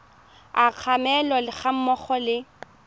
a kgalemo ga mmogo le